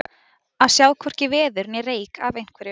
Að sjá hvorki veður né reyk af einhverju